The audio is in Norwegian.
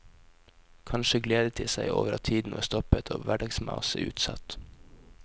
Kanskje gledet de seg over at tiden var stoppet og hverdagsmaset utsatt.